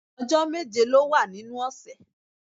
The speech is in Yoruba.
Ọjọ́ méje ló wà nínú ọ̀sẹ̀